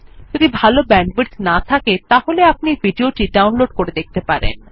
যদি ভাল ব্যান্ডউইডথ না থাকে তাহলে আপনি ভিডিও টি ডাউনলোড করে দেখতে পারেন